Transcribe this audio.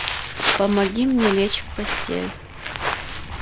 помоги мне лечь в постель